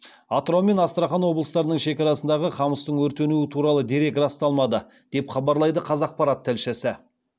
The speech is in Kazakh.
атырау мен астрахан облыстарының шекарасындағы қамыстың өртенуі туралы дерек расталмады деп хабарлайды қазақпарат тілшісі